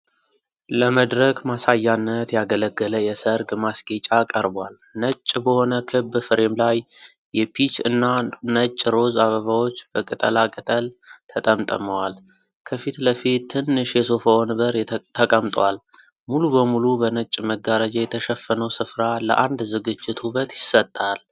ለመድረክ ማሳያነት ያገለገለ የሠርግ ማስጌጫ ቀርቧል። ነጭ በሆነ ክብ ፍሬም ላይ የፒች እና ነጭ ሮዝ አበባዎች በቅጠላቅጠል ተጠምጥመዋል። ከፊት ለፊት ትንሽ የሶፋ ወንበር ተቀምጧል። ሙሉ በሙሉ በነጭ መጋረጃ የተሸፈነው ስፍራ ለአንድ ዝግጅት ውበት ይሰጣል።